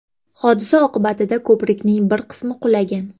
Hodisa oqibatida ko‘prikning bir qismi qulagan.